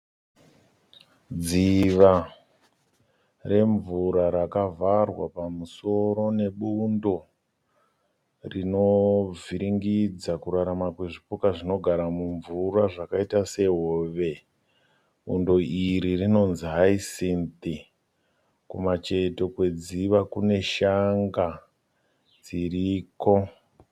Dziva remvura rakavharwa pamusoro nebundo rinovhiringidza kurarama kwezvipuka zvinogara mumvura zvakaita sehove. Bundo iri rinonzi haisinzi. Kumacheto kwedziva kune shanga dziriko.